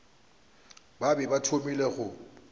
ba be ba thomile go